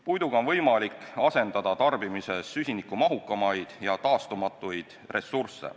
Puiduga on võimalik asendada tarbimises süsinikumahukamaid ja taastumatuid ressursse.